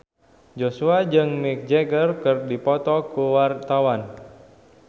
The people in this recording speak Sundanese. Joshua jeung Mick Jagger keur dipoto ku wartawan